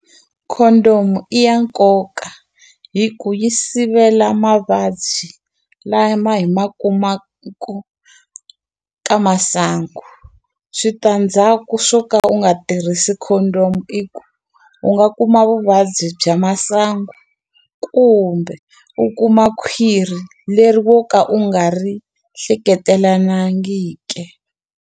Condom-u i ya nkoka hi ku yi sivela mavabyi lama hi ma ka masangu, switandzhaku swo ka u nga a tirhisi condom i ku u nga kuma vuvabyi bya masangu kumbe u kuma khwiri leri wo ka u nga ri hleketelanangike.